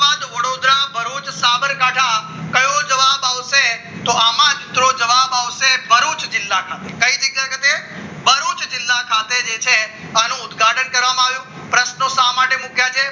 ના ભરૂચ સાબરકાંઠા કયો જવાબ આવશે તો આમાં જ તો જવાબ આવશે ભરૂચ જિલ્લા ખાતે કઈ જગ્યા ખાતે ભરૂચ જિલ્લા ખાતે જે છે આનો ઉદઘાટન કરવામાં આવ્યું પ્રશ્નો શા માટે મૂક્યા છે